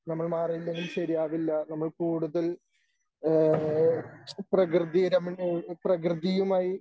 നമ്മൾ മാറിയില്ലെങ്കിൽ ശരിയാകില്ല നമ്മൾ കൂടുതൽ ഏഹ് പ്രകൃതിരമണീയ പ്രകൃതിയുമായി